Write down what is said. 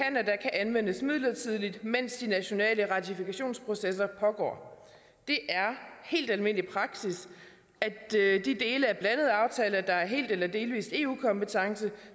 anvendes midlertidigt mens de nationale ratifikationsprocesser pågår det er helt almindelig praksis at de dele af blandede aftaler der er helt eller delvis eu kompetence